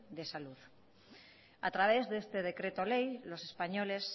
de salud a través de este decreto ley los españoles